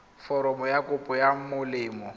foromo ya kopo ya molemo